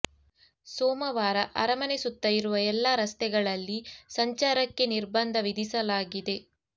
ಸೋಮವಾರ ಅರಮನೆ ಸುತ್ತ ಇರುವ ಎಲ್ಲಾ ರಸ್ತೆಗಳಲ್ಲಿ ಸಂಚಾರಕ್ಕೆ ನಿರ್ಬಂಧ ವಿಧಿಸಲಾಗಿದೆ